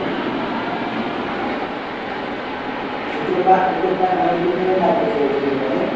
ও তো পা ও তো প্রায় অনেকদিন ধরেই কাজ করছে hotel এ তাই না?